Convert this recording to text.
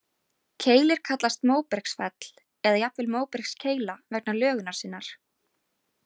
Keilir kallast móbergsfell, eða jafnvel móbergskeila vegna lögunar sinnar.